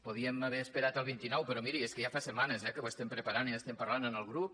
podíem haver esperat al vint nou però miri és que ja fa setmanes eh que ho preparem i en parlem en el grup